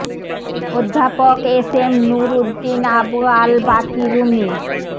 অধ্যাপক S M Nur Uddin Abu Al Baki Rumi